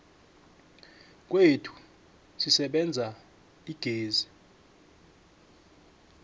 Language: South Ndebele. kwethu sisebenzisa igezi